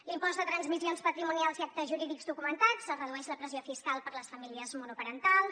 l’impost de transmissions patrimonials i actes jurídics documentats es redueix la pressió fiscal per a les famílies monoparentals